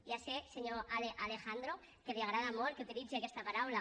ja sé senyor alejandro que li agrada molt que utilitzi aquesta paraula